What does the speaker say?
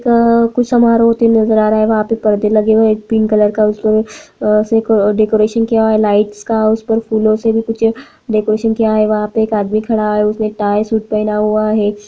अ कुछ समारोह होते नजर आ रहा है वहाँ पे परदे लगे हुए पिंक कलर का उसमे अ डेकोरेशन किया हुआ है लाइट्स का उसपे फूलों से भी कुछ डेकोरेशन किया हुआ है वहाँ पे एक आदमी खड़ा है उसने टाई सूट पहना हुआ है एक --